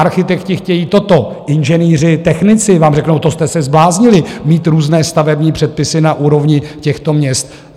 Architekti chtějí toto, inženýři, technici vám řeknou: To jste se zbláznili, mít různé stavební předpisy na úrovni těchto měst.